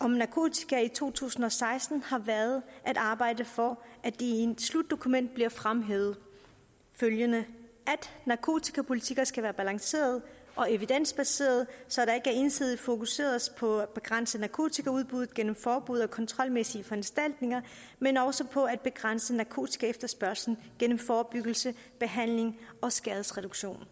om narkotika i to tusind og seksten har været at arbejde for at det i et slutdokument bliver fremhævet at narkotikapolitikker skal være balancerede og evidensbaserede så der ikke ensidigt fokuseres på at begrænse narkotikaudbuddet gennem forbud og kontrolmæssige foranstaltninger men også på at begrænse narkotikaefterspørgslen gennem forebyggelse behandling og skadesreduktion